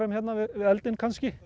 við eldinn kannski